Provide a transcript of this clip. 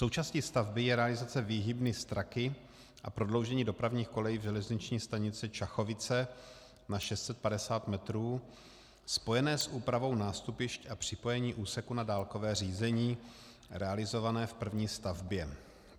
Součástí stavby je realizace výhybny Straky a prodloužení dopravních kolejí v železniční stanici Čachovice na 650 metrů, spojené s úpravou nástupišť a připojením úseku na dálkové řízení realizované v první stavbě.